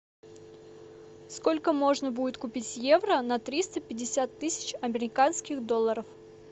сколько можно будет купить евро на триста пятьдесят тысяч американских долларов